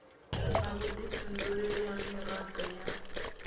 na vhudifhinduleli ha mirado ya